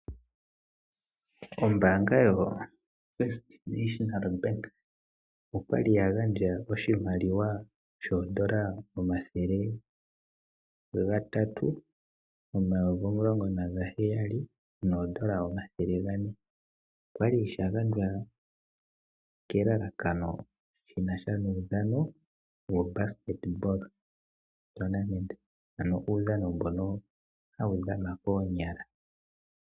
Ombanga yotango yopashigwana okwali ya gandja oshimaliwa shoodollar omathele gatatu, omayovi omulongo nagaheyali, noodollar omathele gane. Okwali sha gandjwa kelalakano shinasha nuudhano wobasketball tournament. Ano uudhano mbono hawu dhanwa koonyala.